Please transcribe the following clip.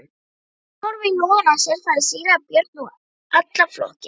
Að horfa í logana sefaði síra Björn og allan flokkinn.